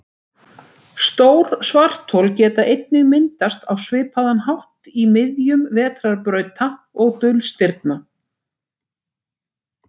Stór svarthol geta einnig myndast á svipaðan hátt í miðjum vetrarbrauta og dulstirna.